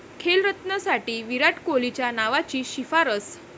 खेलरत्नसाठी विराट कोहलीच्या नावाची शिफारस